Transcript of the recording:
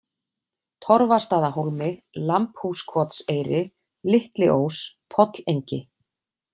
Torfastaðahólmi, Lambhúskotseyri, Litliós, Pollengi